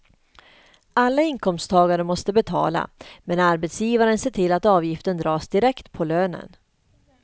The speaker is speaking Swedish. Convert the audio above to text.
Alla inkomsttagare måste betala, men arbetsgivaren ser till att avgiften dras direkt på lönen.